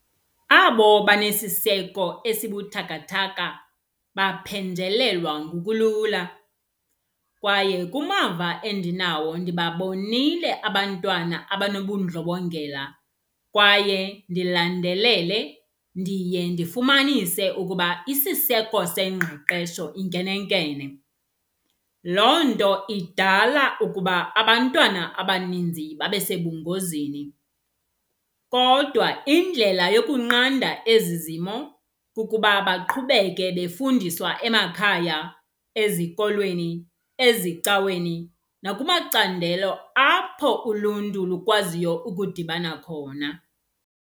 Abo banesiseko esibuthakathaka baphenjelelwa ngokulula. Kwaye kumava endinawo ndibabonile abantwana abanobundlobongela kwaye ndilandelele, ndiye ndifumanise ukuba isiseko sengqeqesho inkenenkene. Loo nto idala ukuba abantwana abaninzi babe sebungozini. Kodwa indlela yokunqanda ezi zimo kukuba baqhubeke befundiswa emakhaya, ezikolweni, ezicaweni nakumacandelo apho uluntu lukwaziyo ukudibana khona.